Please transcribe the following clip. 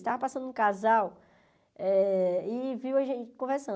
Estava passando um casal eh e viu a gente conversando.